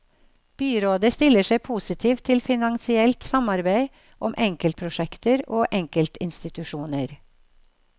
Byrådet stiller seg positivt til finansielt samarbeid om enkeltprosjekter og enkeltinstitusjoner.